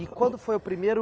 E quando foi o primeiro...